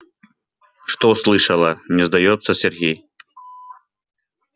что слышала не сдаётся сергей